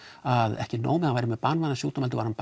að ekki nóg með að hann væri með banvænan sjúkdóm heldur var hann